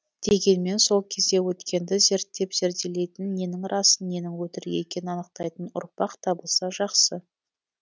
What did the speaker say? дегенмен сол кезде өткенді зерттеп зерделейтін ненің рас ненің өтірік екенін анықтайтын ұрпақ табылса жақсы